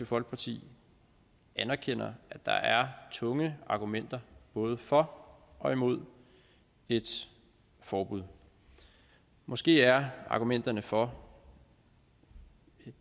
folkeparti anerkender at der er tunge argumenter både for og imod et forbud måske er argumenterne for